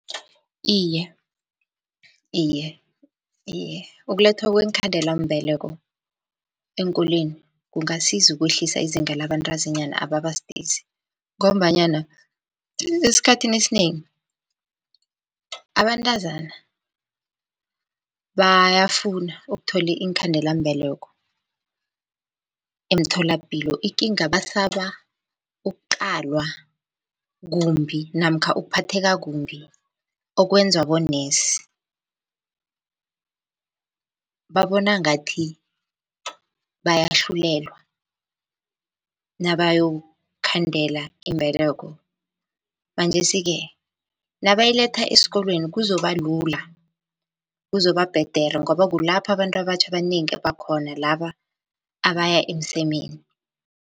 Iye, iye, iye, ukulethwa kweenkhandelambeleko eenkolweni kungasiza ukwehlisa izinga labantazinyana ababa sidisi, ngombanyana esikhathini esinengi abantazana bayafuna ukuthola iinkhandelambeleko emtholapilo, ikinga basaba ukuqalwa kumbi namkha ukuphatheka kumbi okwenzwa bonesi. Babona ngathi bayahlulelwa nabayokhandela imbeleko, manjesi-ke nabayiletha esikolweni kuzoba lula, kuzoba bhedere ngoba kulapho abantu abatjha abanengi abakhona laba abaya emsemeni.